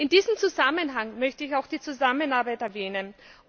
In diesem Zusammenhang möchte ich auch die Zusammenarbeit erwähnen.